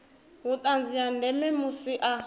vhuṱanzi ha ndeme musi a